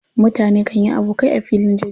Mutane kan yi abokai a filin jirgin zama.